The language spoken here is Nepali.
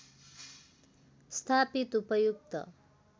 स्थापित उपयुक्त